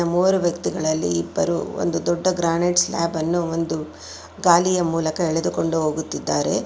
ಮೂವರು ವ್ಯಕ್ತಿಗಳಲ್ಲಿ ಇಬ್ಬರು ಒಂದು ದೊಡ್ಡ ಗ್ರಾನೈಟ್ ಸ್ಲಾಬ್ ಅನ್ನು ಒಂದು ಗಾಲಿಯ ಮೂಲಕ ಎಳೆದುಕೊಂಡು ಹೋಗುತ್ತಿದ್ದಾರೆ.